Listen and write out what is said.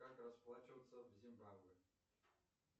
как расплачиваться в зимбабве